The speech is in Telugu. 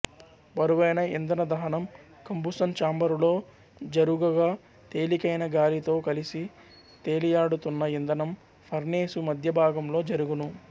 బరువైన ఇంధనదహనం కంబుసన్ చాంబరులో జరుగగా తేలికైన గాలితో కలిసి తేలియాడుతున్న ఇంధనం ఫర్నేసు మధ్యభాగంలో జరుగును